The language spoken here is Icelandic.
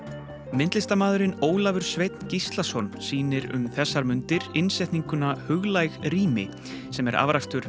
myndlistarmaðurinn Ólafur Sveinn Gíslason sýnir um þessar mundir innsetninguna huglæg rými sem er afrakstur